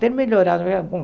ter melhorado.